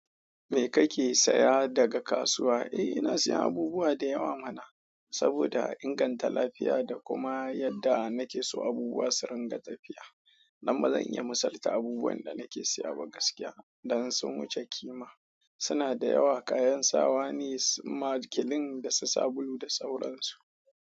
Me kake saya daga kasuwa? Eh ina siyan abubuwa dayawa mana, saboda inganta lafiya da kuma yadda nakeso abubuwa surunga tafiya, dan ba zan iya misalta abubuwan da nake siya ba gaskiya, dan sun wuce kima. Suna da yawa kayan sawa ne, su makilin, da su sabulu da sauransu.